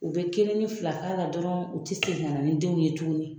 U be kelen ni fila k'a la dɔrɔn ,u ti segin ka na ni denw ye tuguni.